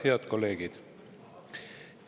Head kolleegid!